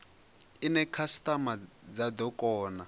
ine khasitama dza do kona